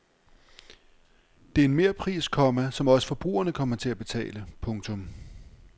Det er en merpris, komma som også forbrugerne kommer til at betale. punktum